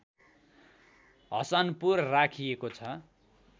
हसनपुर राखिएको छ